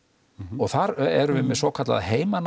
og þar erum við með svokallaða